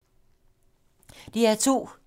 DR2